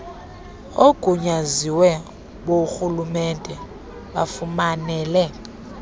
oogunyaziwe borhulumente bafumanele